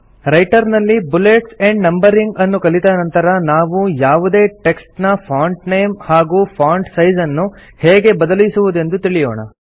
writer ನಲ್ಲಿ bullets and numbering ಅನ್ನು ಕಲಿತ ನಂತರ ನಾವು ಯಾವುದೇ ಟೆಕ್ಸ್ಟ್ ನ ಫಾಂಟ್ ನೇಮ್ ಹಾಗೂ ಫಾಂಟ್ ಸೈಜ್ ಅನ್ನು ಹೇಗೆ ಬದಲಿಸುವುದೆಂದು ತಿಳಿಯೋಣ